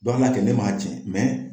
an b'a kɛ ne ma jɛn